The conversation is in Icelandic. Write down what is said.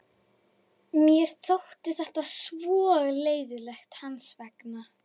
Mér þótti þetta svo leiðinlegt hans vegna.